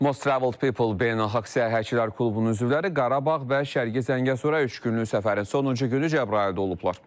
Most traveled people beynəlxalq səyyahçılar klubunun üzvləri Qarabağ və Şərqi Zəngəzura üç günlük səfərin sonuncu günü Cəbrayılda olublar.